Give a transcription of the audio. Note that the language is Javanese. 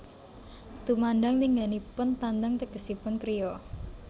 Tumandang lingganipun tandang tegesipun kriya